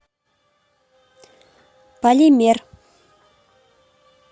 полимер